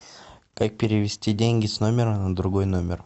как перевести деньги с номера на другой номер